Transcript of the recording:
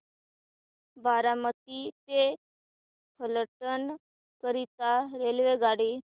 बारामती ते फलटण करीता रेल्वेगाडी